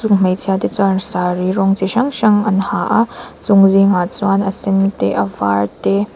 hmeichhia te chuan sari rawng chi hrang hrang an ha a chung zingah chuan a sen te a var te--